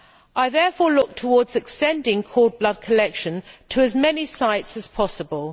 I therefore look towards extending cord blood collection to as many sites as possible.